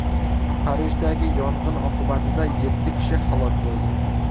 Parijdagi yong‘in oqibatida yetti kishi halok bo‘ldi.